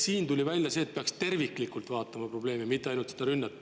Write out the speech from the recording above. Siin tuli välja see, et peaks terviklikult vaatama probleeme, mitte ainult neid ründeid.